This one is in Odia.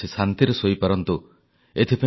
ମନ୍ କି ବାତ୍ ରେ ଲୋକଙ୍କ ସହ ଯୋଡି ହେବା ଏକ ସୁଖଦ ଅନୁଭୂତି